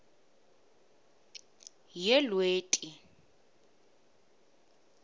yelweti